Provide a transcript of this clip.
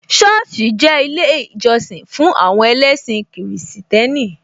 Sọ́ọ̀sì jẹ́ ilé ìjọsìn fún àwọn ẹlẹ́sìn Kristẹni